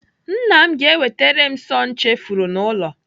Nna m ga-ewetere m sọọ m chefuru n'ụlọ.